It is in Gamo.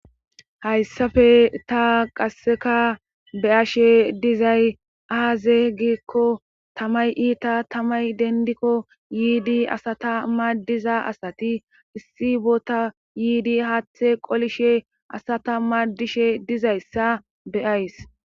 hayssafe ta qasseka be ashe dizay aaze gikko tamay iita tamay dendikko yiidi asata maaddiza asati issi bota yiidi haathe qolishe asata maadishe dizayssa beyays